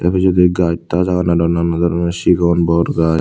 ibe judi gaas taas agon aro nanan babudor un sigon bor gaas.